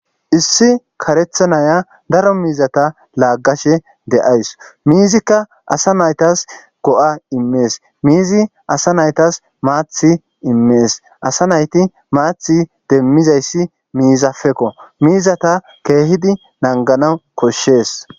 issi karetha naya daro miizata laaggashe de7ays miizikka asa naytas go7a immees miizi asa naytas maathi immees asa nayti maathi demmizayssi miizafekko miizata keehidi nanganaw koshshees